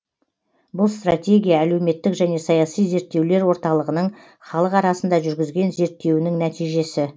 бұл стратегия әлеуметтік және саяси зерттеулер орталығының халық арасында жүргізген зерттеуінің нәтижесі